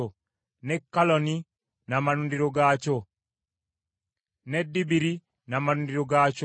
ne Kaloni n’amalundiro gaakyo ne Debiri n’amalundiro gaakyo,